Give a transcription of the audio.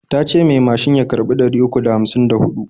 Tace mai macin ya karɓi ɗari uku da hamsin da huɗu.